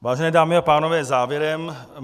Vážené dámy a pánové, závěrem.